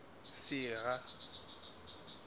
sera